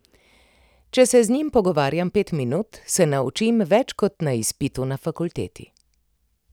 Če se z njim pogovarjam pet minut, se naučim več kot na izpitu na fakulteti.